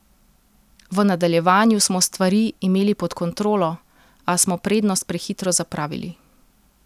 V nadaljevanju smo stvari imeli pod kontrolo, a smo prednost prehitro zapravili.